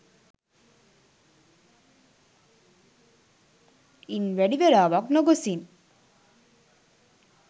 ඉන් වැඩි වේලාවක් නොගොසින්